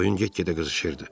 Oyun get-gedə qızışırdı.